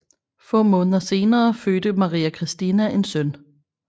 Få måneder senere fødte Maria Christina en søn